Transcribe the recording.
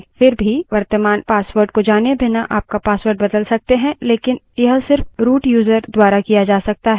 फिर भी वर्तमान password को जाने बिना आप password बदल सकते हैं लेकिन यह सिर्फ root यूज़र द्वारा किया जा सकता है